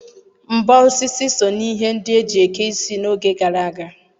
Mbo osisi so n'ihe ndị e ji eke isi n'oge gara aga.